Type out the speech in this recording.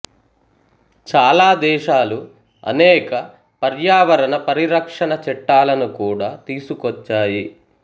చాలా దేశాలు అనేక పర్యవరణ పరిరక్షన చట్టాలను కూడా తీసుకోచ్చాయి